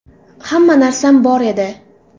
Hamma narsam bor edi.